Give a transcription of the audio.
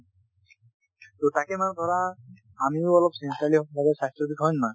তো তাকে মানে ধৰা আমিও অলপ sincerely হব লাগে স্বাস্থ্যৰ বিষয়ে, হয় নে নহয়?